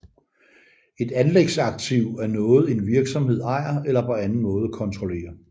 Et anlægsaktiv er noget en virksomhed ejer eller på anden måde kontrollerer